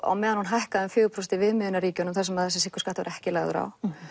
á meðan hún hækkaði um fjögur prósent í viðmiðunarríkjunum þar sem sykurskattur var ekki lagður á